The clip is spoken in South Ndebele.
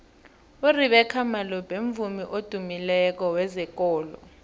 urebeca malope mvumi odumileko wezekolo